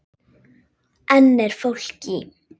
Enn er fólk í